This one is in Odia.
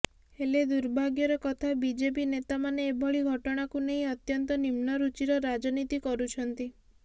ହେଲେ ଦୁର୍ଭଗ୍ୟର କଥା ବିଜେପି ନେତାମାନେ ଏଭଳି ଘଟଣାକୁ ନେଇ ଅତ୍ୟନ୍ତ ନିମ୍ନରୁଚିର ରାଜନୀତି କରୁଛନ୍ତି